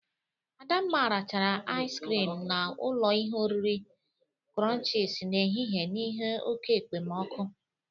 Adamma rachara ais krịm na ụlọ ihe oriri krọnchịz n'ehihe n'ihe oke ekpemoku.